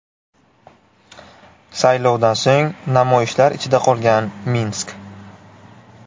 Saylovdan so‘ng namoyishlar ichida qolgan Minsk.